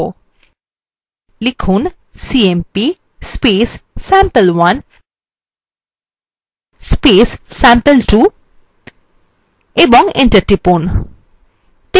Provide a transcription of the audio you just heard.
লিখুন cmp sample1 sample2 এবং enter টিপুন